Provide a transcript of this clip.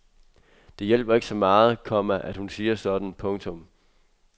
Det hjælper ikke så meget, komma at hun siger sådan. punktum